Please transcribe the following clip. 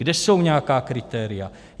Kde jsou nějaká kritéria?